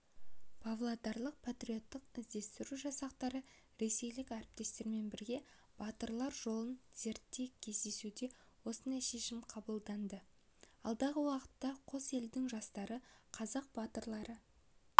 павлодарлық патриоттық-іздестіру жасақтары ресейлік әріптестермен бірге батырлар жолын зерттемек кездесуде осындай шешім қабылданды алдағы уақытта қос елдің жастары қазақ батырлары